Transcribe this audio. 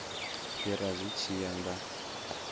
fhira zwi tshi ya nga